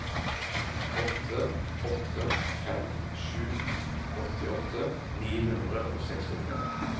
åtte åtte fem sju åttiåtte ni hundre og sekstitre